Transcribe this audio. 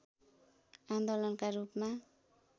आन्दोलनका रूपमा